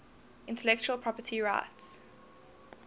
intellectual property rights